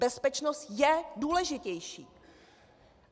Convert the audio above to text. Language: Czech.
Bezpečnost je důležitější.